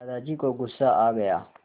दादाजी को गुस्सा आ गया